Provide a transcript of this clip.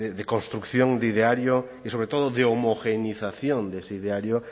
de construcción de ideario y sobre todo de homogenización de ese ideario